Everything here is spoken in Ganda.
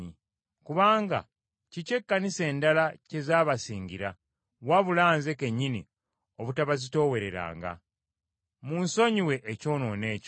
Kubanga kiki ekkanisa endala kye zaabasingira, wabula nze kennyini obutabazitoowereranga. Munsonyiwe ekyonoono ekyo.